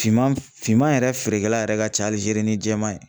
Finman finman yɛrɛ feerekɛla yɛrɛ ka ca Alijeri jɛman ye